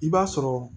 I b'a sɔrɔ